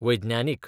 वैज्ञानीक